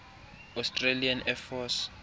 australian air force